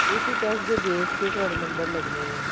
ਉਸੀ test ਦੇ base ਤੇ ਤੁਹਾਡੇ number ਲੱਗਨੇ ਨੇ